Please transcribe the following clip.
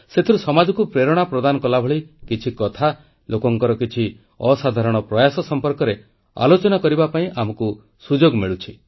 ସେଥିରୁ ସମାଜକୁ ପ୍ରେରଣା ପ୍ରଦାନ କଲାଭଳି କିଛି କଥା ଲୋକଙ୍କର କିଛି ଅସାଧାରଣ ପ୍ରୟାସ ସମ୍ପର୍କରେ ଆଲୋଚନା କରିବା ପାଇଁ ଆମକୁ ସୁଯୋଗ ମିଳୁଛି